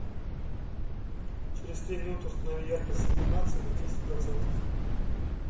через три минуты установи яркость иллюминации на десять процентов